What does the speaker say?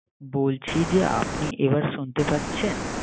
বলছি যে আপনি এবার আপনি শুনতে পারছেন